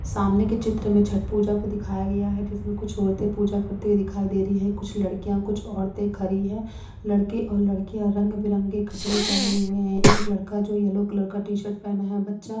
सामने के चित्र में छठ पूजा को दिखाया गया है जिसमें कुछ औरतें पूजा करते हुए दिखाई दे रही है कुछ लड़कियां कुछ औरतें खरी है लड़के और लड़कियां रंग बिरंगे कपड़े पहने हुए हैं एक लड़का जो येलो कलर का टी शर्ट पहना है बच्चा---